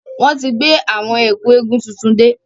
Wọn tí gbé àwọn Ẹ̀kú eégún tuntun dé.